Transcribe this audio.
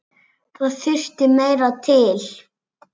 Það þurfti meira til.